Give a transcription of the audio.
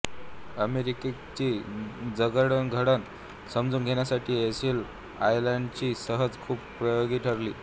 अमेरिकेची जडणघडण समजून घेण्यासाठी एलिस आयलंडची सहल खूप उपयोगी ठरली